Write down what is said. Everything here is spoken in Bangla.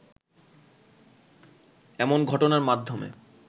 এমন ঘটনার মাধ্যমে